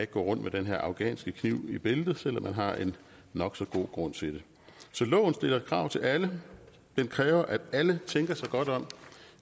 gå rundt med den her afghanske kniv i bæltet selv om man har en nok så god grund til det så loven stiller krav til alle den kræver at alle tænker sig godt om